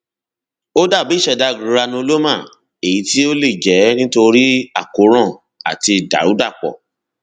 ó dàbí ìṣẹdá granuloma èyí tí ó lè jẹ nítorí àkóràn àti ìdàrúdàpò